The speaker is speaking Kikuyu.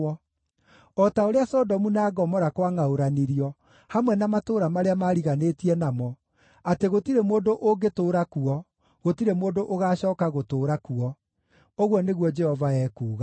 O ta ũrĩa Sodomu na Gomora kwangʼaũranirio, hamwe na matũũra marĩa maariganĩtie namo, atĩ gũtirĩ mũndũ ũngĩtũũra kuo; gũtirĩ mũndũ ũgaacooka gũtũũra kuo,” ũguo nĩguo Jehova ekuuga.